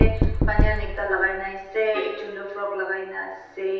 baniyan ekta lagai kina asae ekjun doh frock lagai kina asae.